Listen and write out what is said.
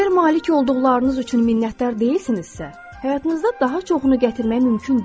Əgər malik olduqlarınız üçün minnətdar deyilsinizsə, həyatınızda daha çoxunu gətirmək mümkün deyil.